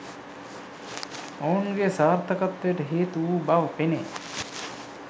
ඔවුන්ගේ සාර්ථකත්වයට හේතු වූ බව පෙනේ